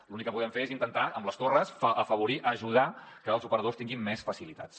l’únic que podem fer és intentar amb les torres afavorir ajudar que els operadors tinguin més facilitats